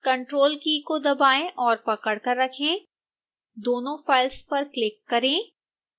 ctrl की को दबाएं और पकड़कर रखें दोनों फाइल्स पर क्लिक करें